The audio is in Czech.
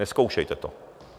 Nezkoušejte to!